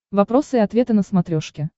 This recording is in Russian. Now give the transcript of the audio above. вопросы и ответы на смотрешке